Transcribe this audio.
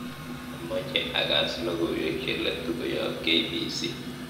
amoche agas logoiwek cheletu koyop k.b.c